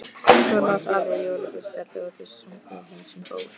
Svo las afi jólaguðspjallið og þau sungu Heims um ból.